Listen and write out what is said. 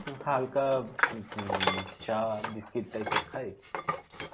হালকা উম উম চা biscuit type এর খাই.